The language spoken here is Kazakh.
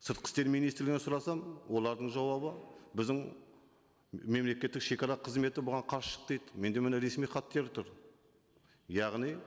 сыртқы істер министрінен сұрасам олардың жауабы біздің мемлекеттік шегара қызметі бұған қарсы шықты дейді менде міне ресми тұр яғни